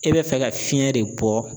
E bɛ fɛ ka fiɲɛ de bɔ.